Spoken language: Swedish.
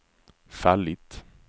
fallit